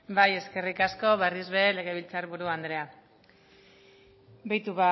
bai eskerrik asko berriz be legebiltzar buru andrea beitu